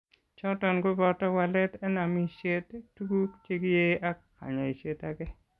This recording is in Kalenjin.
Choton koboto walet en amishet, tuguk chekiee ak kanyaiset age